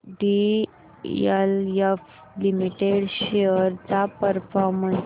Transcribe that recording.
DLF limited shares चा performance